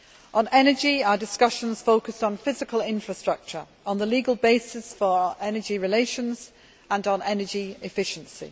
On energy, our discussions focused on physical infrastructure, on the legal basis for our energy relations, and on energy efficiency.